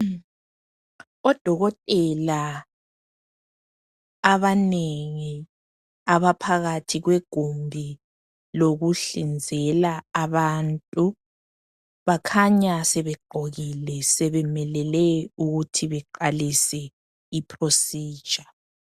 odokotela abanengi abaphakathi kwegumbi lokuhlinzela abantu bakhanya sebegqokile sebemelele ukuthi beqalise i procedure